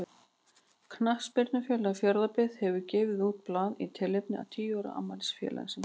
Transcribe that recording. Knattspyrnufélagið Fjarðabyggð hefur gefið út blað í tilefni af tíu ára afmæli félagsins.